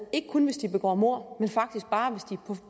ikke kun hvis de begår mord men faktisk bare hvis de